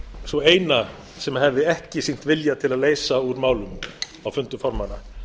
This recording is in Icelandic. sú eina sem hefði ekki sýnt vilja til að leysa úr málum á fundum formanna